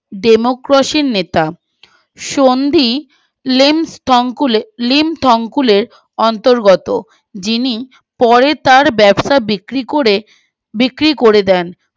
ডেমোক্রসীর নেতা সন্ধি লিঙ্ক থ্যংকুইলের অন্তগত যিনি পরে তার ব্যবসা বিক্রি করে বিক্রি করে দেন